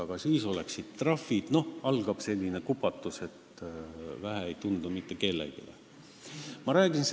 Aga siis oleksid trahvid kaelas ja algaks selline kupatus, et mitte kellelegi ei oleks seda vähe olnud.